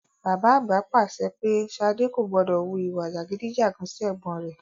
Bàbá àgbà pa àṣẹ pé Ṣadé kò gbọdọ̀ wu ìwà jàgídí-jàgan sí ẹ̀gbọ́n rẹ.